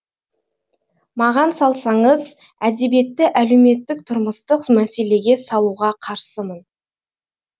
маған салсаңыз әдебиетті әлеуметтік тұрмыстық мәселеге салуға қарсымын